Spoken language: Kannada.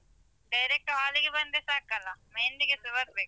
Direct hall ಗೆ ಬಂದ್ರೆ ಸಾಕಲ್ಲ, मेहंदी ಗೆಸ ಬರ್ಬೇಕಾ?